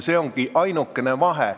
See ongi ainukene vahe.